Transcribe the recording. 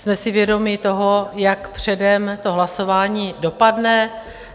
Jsme si vědomi toho, jak předem to hlasování dopadne.